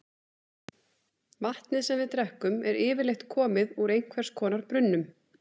Vatnið sem við drekkum er yfirleitt komið úr einhvers konar brunnum.